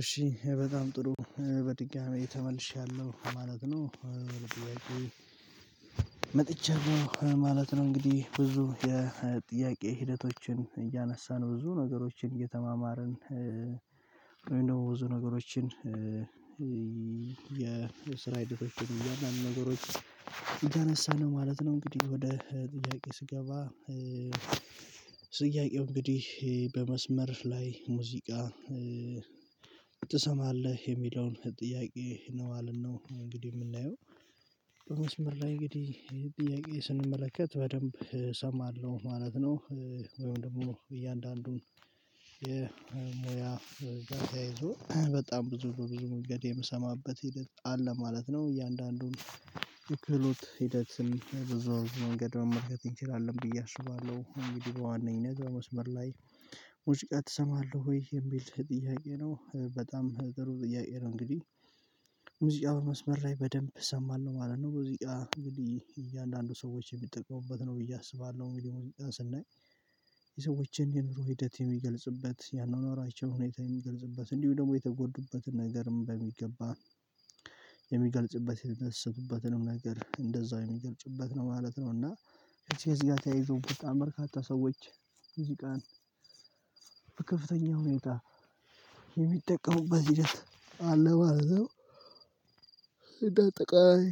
እሺ በጣም ጥሩ በድጋሚ ተመልሻለሁ ማለት ነው። መጥቼ ነው ማለት ነው እንግዲህ ብዙ የጥያቄ ሂደቶችን እያነሳን ብዙ ነገሮችን እየተማማርን። ወይ ደግሞ ብዙ ነገሮችን። የስራ የድሮሽን እያንዳንዱ ነገሮች እያነሳን ነው ማለት ነው። እንግዲህ ወደ ጥያቄ ስገባ። ጥያቄው እንግዲህ በመስመር ላይ ሙዚቃ ትሰማለህ የሚለውን ጥያቄ ነው ማለት ነው። እንግዲህ የምናየው በመስመር ላይ እንግዲህ ጥያቄ ስንመለከት በደንብ እሰማለሁ ማለት ነው። ወይም ደግሞ እያንዳንዱን የሙያ ጋዜ ይዞ በጣም ብዙ በብዙ ሙገድ የምሰማበት ሂደት አለ ማለት ነው። እያንዳንዱን ይክሉት ሂደት በዛው መንገድ መመልከት እንችላለን ብዬ አስባለሁ። እንግዲህ በዋነኝነት በመስመር ላይ ውዚቃ እሰማለሁ ወይ የሚል ጥያቄ ነው በጣም ጥሩ ጥያቄ ነው። እንግዲህ ሙዚቃው መስመር ላይ በደንብ እሰማለሁ ማለት ነው። ሙዚቃ እንግዲህ እያንዳንዱ ሰዎች የሚጠቀሙበት ነው ብዬ አስባለሁ። ሚዲያ ሙዚቃ ስናይ የሰዎችን የኑሮ ሂደት የሚገልጽበት ያኗኗራቸው ሁኔታ የሚገልጽበት እንዲሁ ደግሞ የተጎዱበትን ነገርም በሚገባ የሚገልጭበት የተነሳሁበትንም ነገር እንደዛው የሚገልጭበት ነው ማለት ነው። እና እዚህ ጋር ተያይዞ በጣም በርካታ ሰዎች ሙዚቃን ከፍተኛ ሁኔታ የሚጠቀሙበት ሂደት አለ ማለት ነው። እንደ አጠቃላይ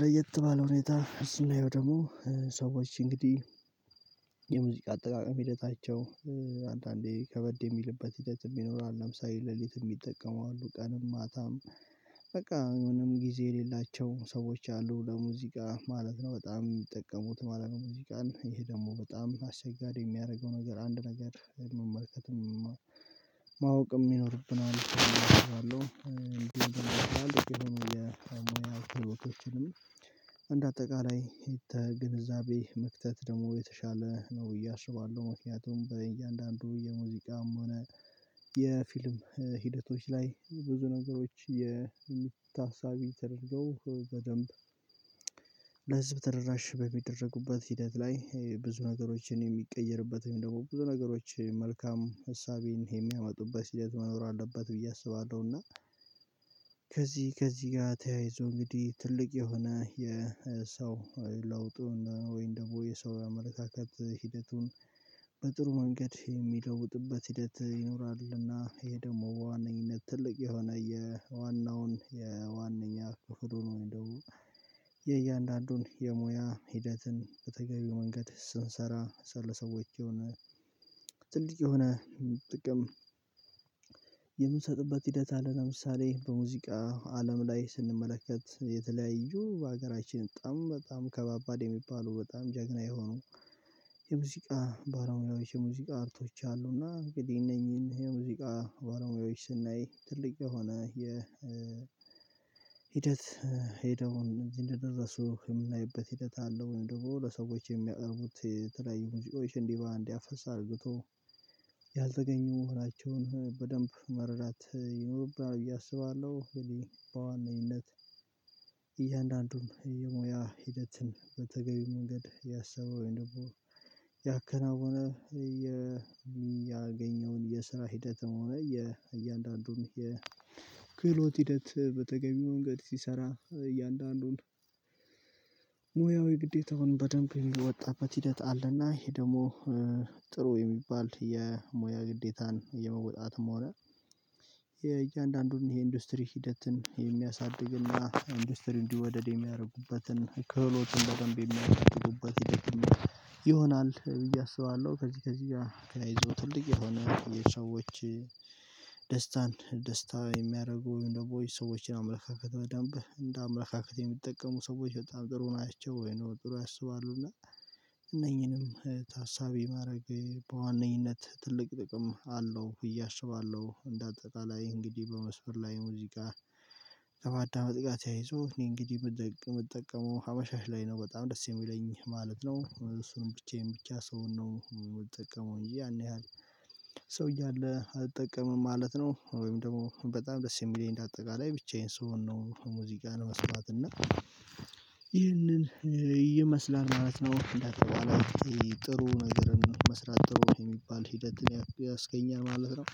ለየት ባለው ሁኔታ ስናየው ደግሞ ሰዎች እንግዲህ የሙዚቃ አጠቃቀም ሂደታቸው አንዳንዴ ከበድ የሚልበት ሂደት የሚኖራል። ለምሳሌ ሌሊት የሚጠቀሙ አሉ ቀን ማታም በቃ ምንም ጊዜ የሌላቸው ሰዎች አሉ ለሙዚቃ ማለት ነው። በጣም የሚጠቀሙት ማለት ነው። ሙዚቃን ይሄ ደግሞ በጣም አስቸጋሪ የሚያደርገው ነገር አንድ ነገር መመልከትም ማወቅም ይኖርብናል። እሺ እሺ እሺ እሺ እሺ የሆኑ የሚያደርጉትንም እንደ አጠቃላይ የተ ግንዛቤ መክተት ደግሞ የተሻለ ነው ብዬ አስባለሁ። ምክንያቱም በእያንዳንዱ የሙዚቃም ሆነ የፊልም ሂደቶች ላይ ብዙ ነገሮች የሚታሳቢ ተደርገው በደንብ ለህዝብ ተደራሽ በሚደረጉበት ሂደት ላይ ብዙ ነገሮችን የሚቀየርበት ወይም ደግሞ ብዙ ነገሮች መልካም እሳቤን የሚያመጡበት ሂደት መኖር አለበት ብዬ አስባለሁ። እና ከዚህ ከዚህ ጋር ተያይዞ እንግዲህ ትልቅ የሆነ የሰው ለውጡን ወይን ደግሞ የሰው አመለካከት ሂደቱን በጥሩ መንገድ የሚለውጥበት ሂደት ይኖራልና ይሄ ደግሞ በዋነኝነት ትልቅ የሆነ የዋናውን የዋነኛ ክፍል ሆኖ እንደው የእያንዳንዱን የሙያ ሂደትን በተገቢው መንገድ ስንሰራ ስለሰዎች የሆነ ትልቅ የሆነ ጥቅም የምንሰጥበት ሂደት አለ። ለምሳሌ በሙዚቃ አለም ላይ ስንመለከት የተለያዩ በሀገራችን በጣም በጣም ከባባድ የሚባሉ በጣም ጀግና የሆኑ የሙዚቃ ባለሙያዎች የሙዚቃ አርቶች አሉና እንግዲህ እነኚህን የሙዚቃ ጓደኞች ስናይ ትልቅ የሆነ የ ሂደት ሄደውን እዚህ እንደደረሱ የምናይበት ሂደት አለው ወይም ደግሞ ለሰዎች የሚያቀርቡት ተለያዩ ሙዚቆ ይሄን ዲቫንዲ አፈሳ አድርጎ ያልተገኙ መሆናቸውን በደንብ መረዳት ይኖርብናል ብዬ አስባለሁ። እንግዲህ በዋናኝነት እያንዳንዱም የሙያ ሂደትን በተገቢ መንገድ ያሰበውን ደግሞ ያከናውነ የሚያገኘውን የስራ ሂደት እያንዳንዱን የክህሎት ሂደት በተገኘው መንገድ ሲሰራ እያንዳንዱን ሙያዊ ግዴታውን በደንብ የወጣበት ሂደት አለና ይሄ ደግሞ ጥሩ የሚባል የሙያ ግዴታን የመወጣትም ሆነ የእያንዳንዱን የኢንዱስትሪ ሂደትን የሚያሳድግና ኢንዱስትሪ እንዲወደድ የሚያደርጉበትን ከህሎት እንደደንብ የሚያደርጉበት ይደክም ይሆናል ብዬ አስባለሁ። ከዚህ ከዚህ ጋር ከላይ ይዞ ትልቅ የሆነ የሰዎች ደስታን ደስታ የሚያደርጉ ወይም ደግሞ ሰዎችን አመለካከት በደንብ እንደ አመለካከት የሚጠቀሙ ሰዎች በጣም ጥሩ ናቸው። ወይ ነው ጥሩ ያስባሉ እና እነኚህንም ታሳቢ ማድረግ በዋነኝነት ትልቅ ጥቅም አለው። እያሽባለሁ እንደ አጠቃላይ እንግዲህ በመስፈር ላይ ሙዚቃ ከማዳመጥ ጋር ተያይዞ እኔ እንግዲህ የምጠቀመው ሀመሻሽ ላይ ነው። በጣም ደስ የሚለኝ ማለት ነው። እሱንም ብቻዬን ብቻ ሰውን ነው የምጠቀመው እንጂ ያን ያህል ሰውዬ አለ አልጠቀምም ማለት ነው። ወይም ደግሞ በጣም ደስ የሚለኝ እንደ አጠቃላይ ብቻዬን ስሆን ነው። ሙዚቃን መስራት እና ይህንን ይመስላል ማለት ነው። እንዳትባላት ጥሩ ነገር መስራት ጥሩ የሚባል ሂደት ያስገኘ ማለት ነው።